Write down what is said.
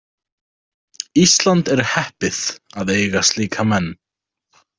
Ísland er heppið að eiga slíka menn.